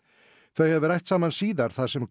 þau hafi rætt saman síðar þar sem